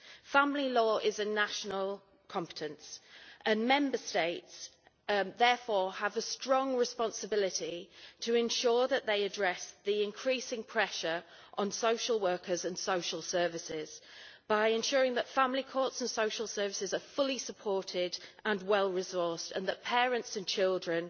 Family law is a national competence, and Member States therefore have a strong responsibility to ensure that they address the increasing pressure on social workers and social services by ensuring that family courts and social services are fully supported and well resourced and that parents and children